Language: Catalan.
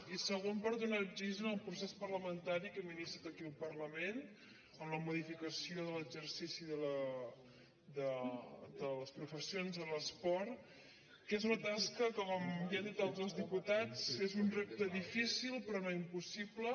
i segona per donar oxigen al procés parlamentari que hem iniciat aquí al parlament amb la modificació de l’exercici de les professions de l’esport que és una tasca que com ja han dit altres diputats és un repte difícil però no im·possible